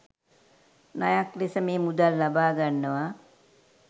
ණයක් ලෙස මේ මුදල් ලබා ගන්නවා